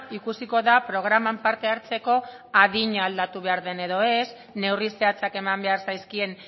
ikusiko da programan parte hartzeko adina aldatu behar den edo ez neurri zehatzak eman behar zaizkien